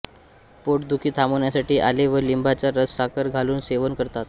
पोटदुखी थांबण्यासाठी आले व लिंबाचा रस साखर घालून सेवन करतात